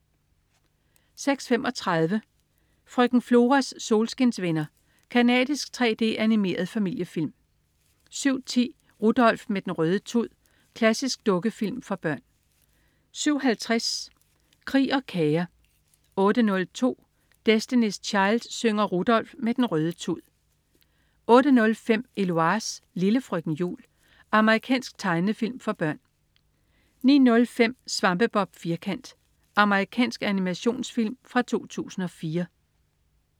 06.35 Frøken Floras solskinsvenner. Canadisk 3D-animeret familiefilm 07.10 Rudolf med den røde tud. Klassisk dukkefilm for børn 07.50 Krig og kager 08.02 Destiny's Child synger Rudolf med den røde tud 08.05 Eloise. Lille frøken jul. Amerikansk tegnefilm for børn 09.05 Svampebob Firkant. Amerikansk animationsfilm fra 2004